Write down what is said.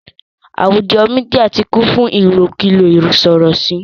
àwùjọ media ti kún fún ilokulo isorosi.